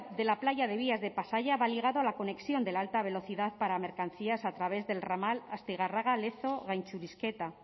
de la playa de vías de pasaia va ligado a la conexión de la alta velocidad para mercancías a través del ramal astigarraga lezo gaintxurizketa